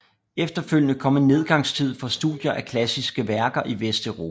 Efterfølgende kom en nedgangstid for studier af klassiske værker i Vesteuropa